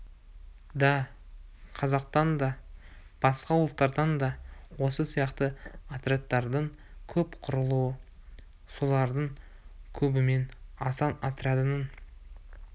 да қазақтан да басқа ұлттардан да осы сияқты отрядтардың көп құрылуы солардың кебімен асан отрядының